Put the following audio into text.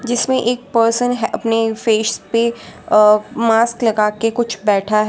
इसमें एक पर्सन है अपनी फेस पे अ मास्क लगा के कुछ बैठा है।